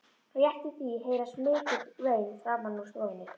Rétt í því heyrast mikil vein framan úr stofu.